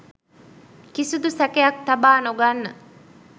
කිසිදු සැකයක් තබා නොගන්න